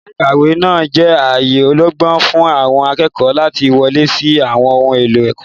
Yàrá ìkàwé náà jẹ́ ààyè ọlọ́gbọ́n fún àwọn akẹ́kọ̀ọ́ láti wọlé sí àwọn ohun èlò ẹ̀kọ́.